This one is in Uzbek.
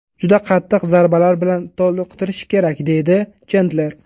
Juda qattiq zarbalar bilan toliqtirish kerak”, deydi Chendler.